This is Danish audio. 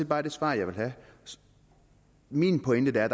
bare det svar jeg vil have min pointe er